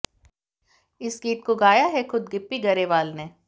इस गीत को गाया है खुद गिप्पी गरेवाल ने